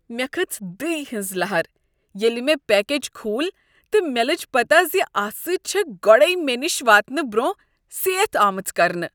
مےٚ کھٔژ دٕیہ ہنز لہر ییلِہ مےٚ پکیج کھول تہٕ مےٚ لٔج پتہٕ زِ اتھ سۭتۍ چھےٚ گۄڈے مےٚ نش واتنہٕ برونٛہہ سیتھ آمٕژ کرنہٕ۔